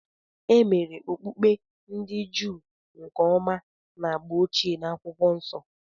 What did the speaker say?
E mere Okpukpe ndị Juu nke ọma na agba ochie na Akwụkwọ Nsọ.